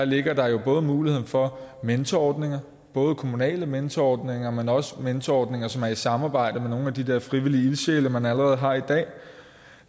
ligger der jo muligheden for mentorordninger både kommunale mentorordninger men også mentorordninger som er i samarbejde med nogle af de der frivillige ildsjæle man allerede har i dag